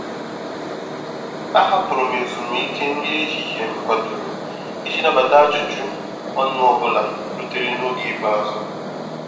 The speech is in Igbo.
A hapụrụ m ezùmíkè nri ehihie m kwadoro iji nabata ajụjụ ọnụ ọ bụla rutere n’oge ikpeazụ.